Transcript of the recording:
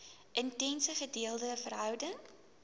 intense gedeelde verhouding